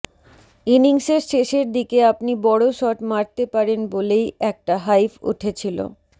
ইনিংসের শেষের দিকে আপনি বড় শট মারতে পারেন বলেই একটা হাইপ উঠেছিল